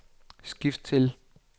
skift til